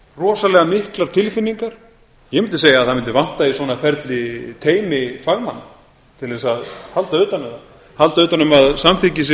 rosalega miklar tilfinningar ég mundi segja að það mundi vanta í svona ferli teymi fagmanna til að halda utan um það halda utan um að samþykkið sé